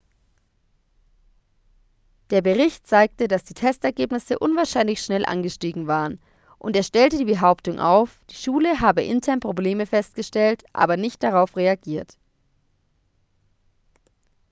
der bericht zeigte dass die testergebnisse unwahrscheinlich schnell angestiegen waren und er stellte die behauptung auf die schule habe intern probleme festgestellt aber nicht darauf reagiert